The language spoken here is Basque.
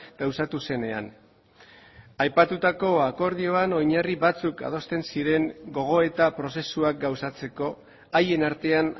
gauzatu zenean aipatutako akordioan oinarri batzuk adosten ziren gogoeta prozesuak gauzatzeko haien artean